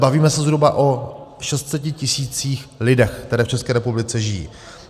Bavíme se zhruba o 600 tisících lidí, kteří v České republice žijí.